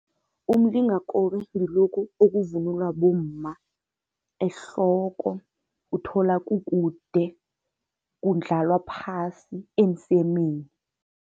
Umlingakobe ngilokhu okuvunulwa bomma ehloko, uthola kukude, kundlalwa phasi emsemeni.